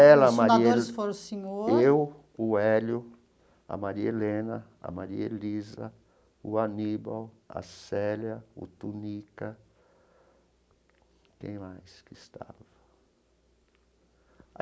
Ela, Maria He... os fundadores foram o senhor... Eu, o Hélio, a Maria Helena, a Maria Elisa, o Aníbal, a Célia, o Tunica, quem mais que estava?